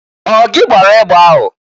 Ọ gị gbara egbe ahụ?